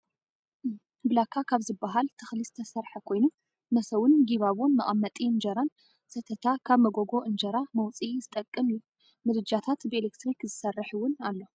ብላካ ካብ ዝብሃል ተክሊ ዝተሰረሐ ኮይኑ መሰውን ጊባቦን መቀመጢ እንጀራን ሰተታ ካብ መጎጎ እንጀራ መውፅኢ ዝጠቅም እዩ። ምድጃታት ብኢለትርክ ዝሰርሕ እውን ኣሎ።